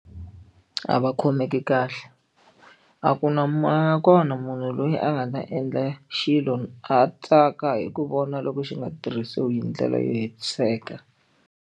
A va khomeki kahle a ku na a nga kona munhu loyi a nga ta endla xilo a tsaka hi ku vona loko xi nga tirhisiwi hi ndlela yo hetiseka.